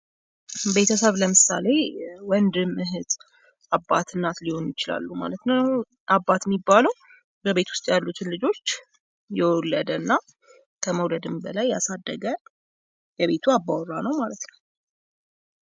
ቤተሰብ ለምሳሌ ወንድም እህት አባት እናት ሊሆኑ ይችላሉ ማለት ነው ። አባት ሚባለው በቤት ውስጥ ያሉትን ልጆች የወለደ እና ከመውለደም በላይ ያሳደገ የቤቱ አባወራ ነው ማለት ነው ።